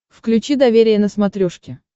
включи доверие на смотрешке